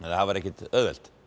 það var ekkert auðvelt